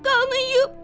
Qanıyıb.